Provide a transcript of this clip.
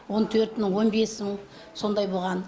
он төрт мың он бес мың сондай болған